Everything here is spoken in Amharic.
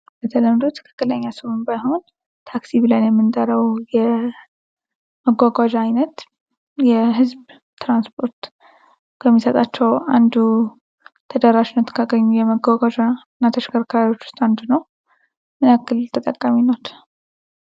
በተለምዶ ትክክለኛ ስሙም ባይሆን ታክሲ ብለን የምንጠራው የመጓጓዣ አይነት የህዝብ ትራንስፖርት ከሚሰጣቸው አንዱ ተደራሽነት ካገኙ የመጓጓዣና ተሽከርካሪዎች ውስጥ አንዱ ነው። ምን ያክል ተጠቃሚ አሉት?